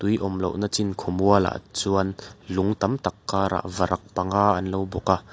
in awm loh nâ chin khawmual ah chuan lung tam tak kar ah varak panga an lo bawk a.